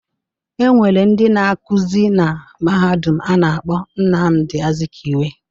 E nwere ndị na-akuzi na Mahadum a na-akpọ Nnamdị Azụkiwe.